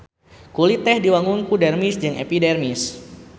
Kulit teh diwangun ku dermis jeung epidermis.